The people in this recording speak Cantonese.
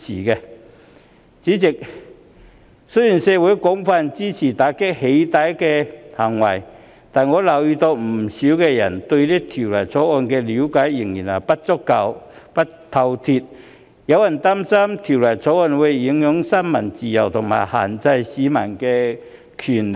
代理主席，雖然社會廣泛支持打擊"起底"行為，但我留意到，不少人對《條例草案》的了解仍然不夠透徹，有人擔心《條例草案》會影響新聞自由和限制市民的權利。